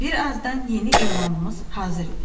Bir azdan yeni elanımız hazır idi.